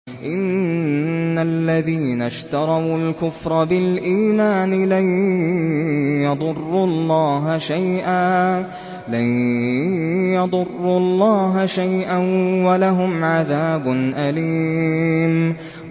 إِنَّ الَّذِينَ اشْتَرَوُا الْكُفْرَ بِالْإِيمَانِ لَن يَضُرُّوا اللَّهَ شَيْئًا وَلَهُمْ عَذَابٌ أَلِيمٌ